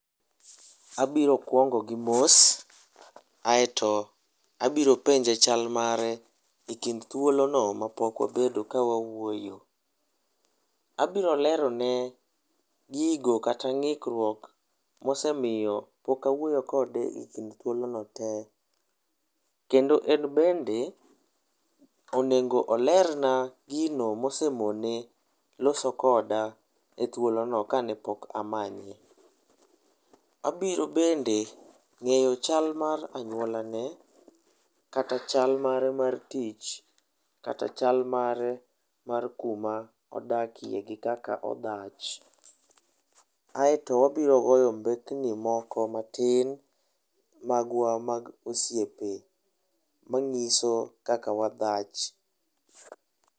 Abiro kuongo gi mos. Kaeto abiro penje chal mare ekind thuolono ma pok wabedo ka wawuoyo. Abiro lerone gigo kata ng'ikruok mosemiyo pok awuoyo kode ekind thuolono tee. Kendo en bende onego olerna gino mosemone loso koda ethuolono kane pok amanye. Abiro bende ng'eyo chal mar anyuola mare, kata chal mare mar tich, kata chal mare mar kuma odakie kaka odhach. Aeto wabiro goyo mbekni moko matin magwa mag osiepe manyiso kaka wadak.